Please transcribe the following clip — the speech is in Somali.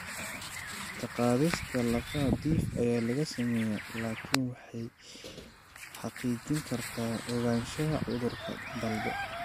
Ka-qaadista lafaha dhif ayaa la sameeyaa, laakiin waxay xaqiijin kartaa ogaanshaha cudurka dalbo.